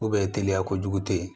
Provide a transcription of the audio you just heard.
teliya kojugu tɛ yen